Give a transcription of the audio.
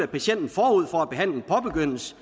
patienten forud for at behandlingen påbegyndes